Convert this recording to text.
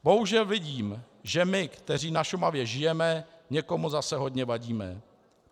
Bohužel vidím, že my, kteří na Šumavě žijeme, někomu zase hodně vadíme.